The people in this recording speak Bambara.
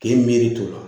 K'e miiri to la